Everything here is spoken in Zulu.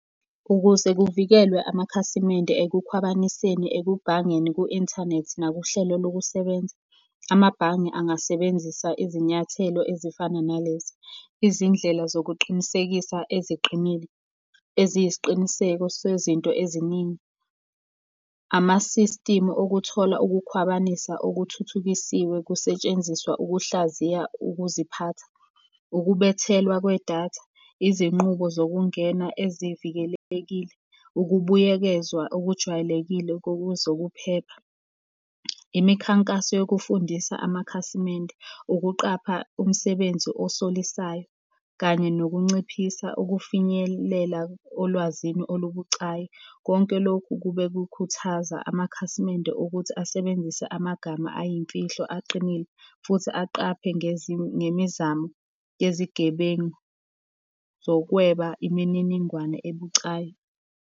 Ukuze kuvikelwe amakhasimende ekukhwabaniseni ekugangeni ku-inthanethi nakuhlelo lokusebenza, amabhange angasebenzisa izinyathelo ezifana nalezi. Izindlela zokuqinisekisa eziqinile, eziyi siqiniseko sezinto eziningi. Ama-system okuthola ukukhwabanisa okuthuthukisiwe kusetshenziswa ukuhlaziya ukuziphatha, ukubethelwa kwedatha, izinqubo zokungena evikelekile, ukubuyekezwa okujwayelekile zokuphepha, imikhankaso yokufundisa amakhasimende, ukuqapha umsebenzi osolisayo. Kanye nokunciphisa ukufinyelela olwazini olubucayi. Konke lokhu kube kukhuthaza amakhasimende ukuthi asebenzise amagama ayimfihlo aqinile futhi aqaphe ngemizamo yezigebengu zokweba imininingwane ebucayi.